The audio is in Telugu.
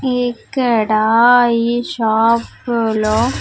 ఇక్కడ ఈ షాప్ లో.